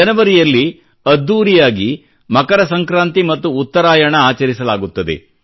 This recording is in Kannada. ಜನವರಿಯಲ್ಲಿ ಅದ್ದೂರಿಯಾಗಿ ಮಕರ ಸಂಕ್ರಾಂತಿ ಮತ್ತು ಉತ್ತರಾಯಣ ಆಚರಿಸಲಾಗುತ್ತದೆ